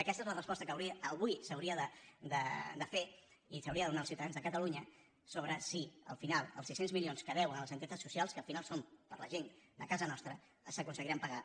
aquesta és la resposta que avui s’hauria de fer i s’hauria de donar als ciutadans de catalunya sobre si al final els sis cents milions que deuen a les entitats socials que al final són per a la gent de casa nostra s’aconseguiran pagar